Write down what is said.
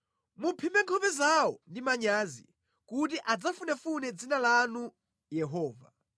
Muphimbe nkhope zawo ndi manyazi kuti adzafunefune dzina lanu Yehova.